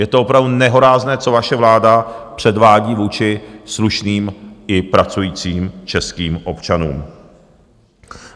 Je to opravdu nehorázné, co vaše vláda předvádí vůči slušným i pracujícím českým občanům!